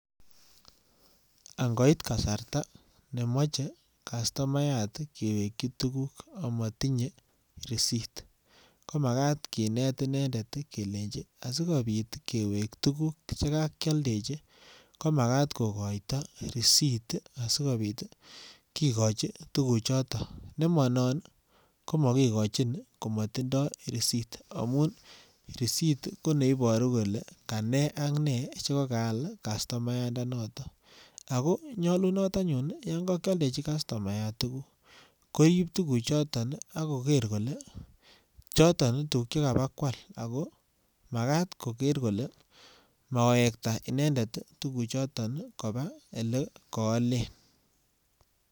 Ang'oit kasarta nemoche customayat kewekyi tukuk amatinye risit komakat kinet inendet kelenchi asikobit kewek tukuk chekokioldechi komakat kokoito risit asikobit kikochi tukuchotonnemonon komokikochin komotindo risit amun risit koneboru kolee kanee ak nee chekokaal customayandanoton ak ko nyolunot anyun yon ko kioldechin customayat tukuk koib tukuchon ak koker kolee choton tukuk chekokabakwal ak ko makaat koker kolee mawekta tukuchoton kobaa elee koolen